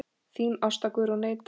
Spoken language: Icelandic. Þín Ásta Guðrún Eydal.